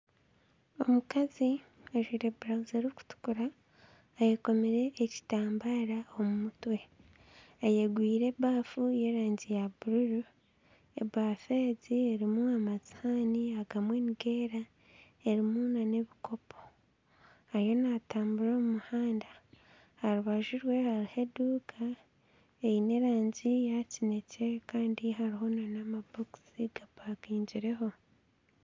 Omukazi ajwaire burawuzi erikutukura ayekomire ekitambaara omu mutwe, ayegwire ebaafu y'erangi ya bururu. Ebaafu egi erimu amasihaani agamwe nigeera, erimu n'ebikopo. Ariyo natambura omu muhanda. Aha rubaju rwe hariho eduuka eine erangi ya kinekye. Kandi hariho n'amabokisi gapakingireho.